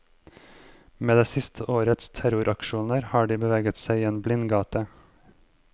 Med det siste årets terroraksjoner har de beveget seg inn i en blindgate.